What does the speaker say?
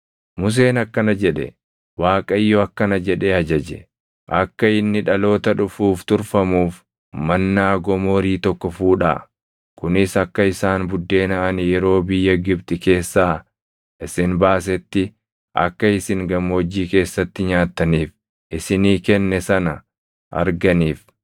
Museen akkana jedhe; “ Waaqayyo akkana jedhee ajaje: ‘Akka inni dhaloota dhufuuf turfamuuf Mannaa gomoorii tokko fuudhaa; kunis akka isaan buddeena ani yeroo biyya Gibxi keessaa isin baasetti akka isin gammoojjii keessatti nyaattaniif isinii kenne sana arganiif.’ ”